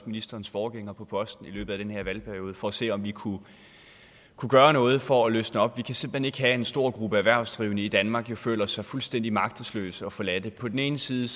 ministerens forgænger på posten i løbet af den her valgperiode for at se om vi kunne gøre noget for at løsne op vi kan simpelt hen at en stor gruppe erhvervsdrivende i danmark føler sig fuldstændig magtesløse og forladte på den ene side